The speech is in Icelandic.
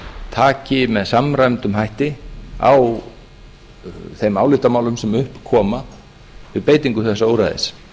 taki með samræmdum hætti á þeim álitamálum sem upp koma við beitingu þessa úrræðis